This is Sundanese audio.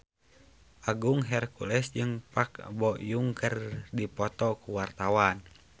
Agung Hercules jeung Park Bo Yung keur dipoto ku wartawan